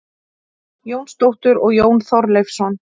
Jónsdóttur og Jón Þorleifsson.